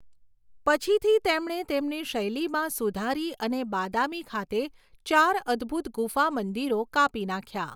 પછીથી તેમણે તેમની શૈલીમાં સુધારી અને બાદામી ખાતે ચાર અદભૂત ગુફા મંદિરો કાપી નાખ્યા.